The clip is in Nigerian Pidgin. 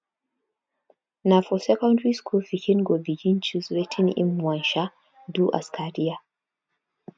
na for secondry school pikin go begin choose wetin im wan um do as career